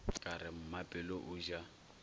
ka re mmapelo o ja